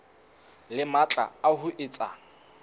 le matla a ho etsa